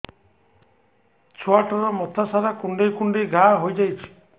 ଛୁଆଟାର ମଥା ସାରା କୁଂଡେଇ କୁଂଡେଇ ଘାଆ ହୋଇ ଯାଇଛି